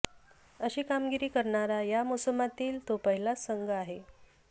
अशी कामगिरी करणारा या मोसमातील तो पहिलाच संघ आहे